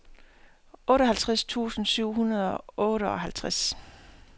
otteoghalvtreds tusind syv hundrede og otteoghalvtreds